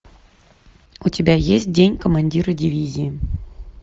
у тебя есть день командира дивизии